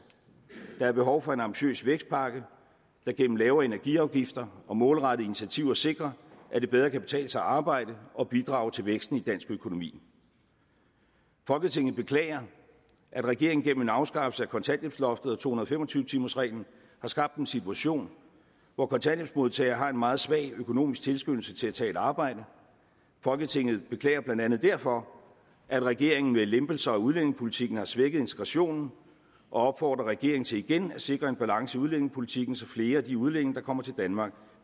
der er behov for en ambitiøs vækstpakke der gennem lavere energiafgifter og målrettede initiativer sikrer at det bedre kan betale sig at arbejde og bidrage til væksten i dansk økonomi folketinget beklager at regeringen gennem en afskaffelse af kontanthjælpsloftet og to hundrede og fem og tyve timersreglen har skabt en situation hvor kontanthjælpsmodtagere har en meget svag økonomisk tilskyndelse til at tage et arbejde folketinget beklager blandt andet derfor at regeringen med lempelser af udlændingepolitikken har svækket integrationen og opfordrer regeringen til igen at sikre en balance i udlændingepolitikken så flere af de udlændinge der kommer til danmark